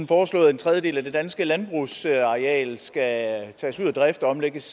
foreslået at en tredjedel af det danske landbrugsareal skal tages ud af drift og omlægges